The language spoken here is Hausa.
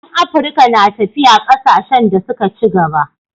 Yan Afirka na tafiya kasashen da suka ci gaba